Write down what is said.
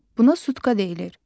Buna sutka deyilir.